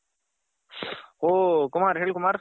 ಓ ಕುಮಾರ್ ಹೇಳಿ ಕುಮಾರ್.